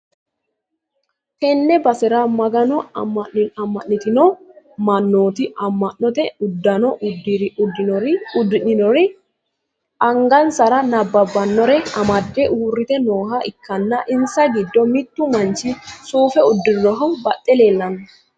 tenne basera magano amma'nitino mannoti amma'note uddano uddidhinori angasara nabbabbannire amadde uurrite nooha ikkanna, insa giddo mittu manchi suufe uddirinohu baxxe leellanno.